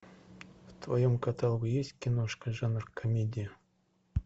в твоем каталоге есть киношка жанр комедия